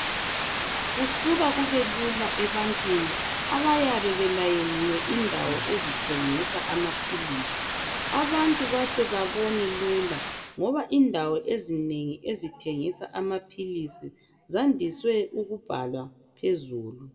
Kusuka kubelula ebantwini abayabe belayeliwe indawo ezithengisa amaphilisi. Abantu bahlezi babone lula ngoba indawo ezinengi ezithengisa amaphilisi zandiswe ukubhalwa phezulu.